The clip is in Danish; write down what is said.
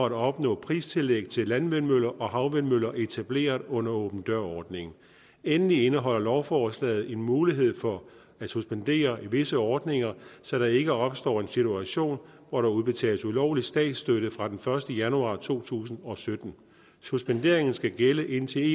at opnå pristillæg til landvindmøller og havvindmøller etableret under åben dør ordningen endelig indeholder lovforslaget en mulighed for at suspendere visse ordninger så der ikke opstår en situation hvor der udbetales ulovlig statsstøtte fra den første januar to tusind og sytten suspenderingen skal gælde indtil